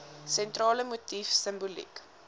sentrale motief simboliek